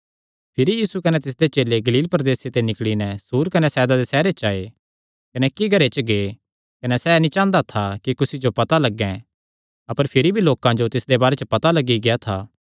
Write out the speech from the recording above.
भिरी यीशु कने तिसदे चेले गलील प्रदेसे ते निकल़ी नैं सूर कने सैदा दे सैहरां च आये कने इक्की घरे च गै कने सैह़ नीं चांह़दा था कि कुसी जो पता लग्गैं अपर भिरी भी लोकां जो तिसदे बारे च पता लग्गी गेआ था